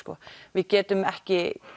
við getum ekki